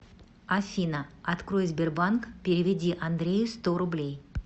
афина открой сбербанк переведи андрею сто рублей